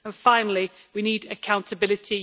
And finally, we need accountability.